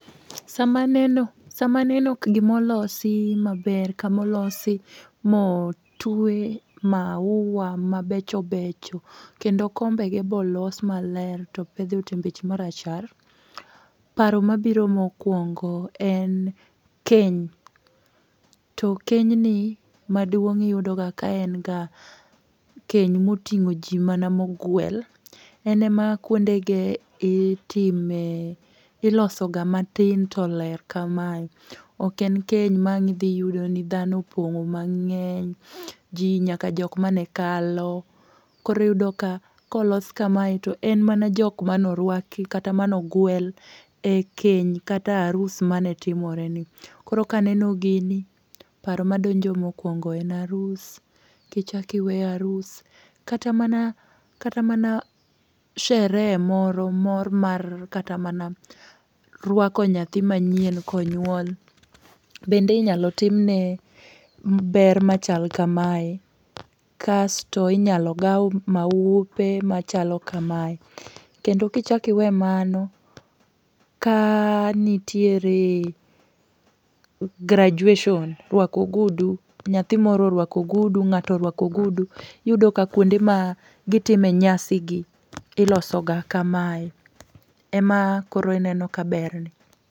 Sama aneno, sama aneno, gima olosi maber, kama olosi ma otwe maua mabecho becho, kendo kombege be olos ma ler to opedhi otembeche ma rachar, paro mabiro mokwongo en keny. To kenyni, maduong' Iyudo ga ka en ga, keny moting'o ji mana mogwel. En ma kwondege itime, iloso ga matin to ler kamae. Ok en keny ma ang' idhi iyudo ni dhano opong'o mang'eny. Ji nyaka jok mane kalo. Koro Iyudo ka kolos kamae, to en mana jok manorwaki, kata mane ogwel e keny kata e arus mane timore ni. Koro kaneno gini, paro madonjo mokwongo en arus. Kichak iwe arus, kata mana, kata mana sherehe moro mor mar kata mana rwako nyathi manyien konyuol bende inyalo timne ber machal kamae. Kasto inyalo gau maupe machalo kamae. Kendo kichak iwe mano, ka nitiere graduation rwako ogudu. Nyathi moro orwako ogudu, ng'ato orwako ogudu, iyudo ka kuonde ma gitime nyasi gi, iloso ga kamae. Ema koro ineno ka berni.